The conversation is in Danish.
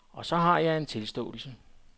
Og så har jeg en tilståelse.